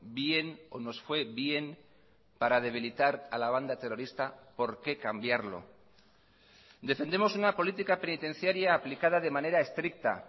bien o nos fue bien para debilitar a la banda terrorista por qué cambiarlo defendemos una política penitenciaria aplicada de manera estricta